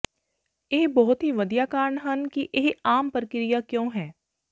ਇਹ ਬਹੁਤ ਹੀ ਵਧੀਆ ਕਾਰਨ ਹਨ ਕਿ ਇਹ ਆਮ ਪ੍ਰਕਿਰਿਆ ਕਿਉਂ ਹੈ